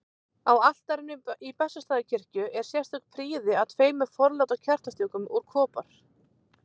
Á altarinu í Bessastaðakirkju er sérstök prýði að tveimur forláta kertastjökum úr kopar.